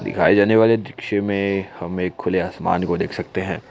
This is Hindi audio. दिखाई जाने वाले दृश्य में हम एक खुले आसमान को देख सकते है।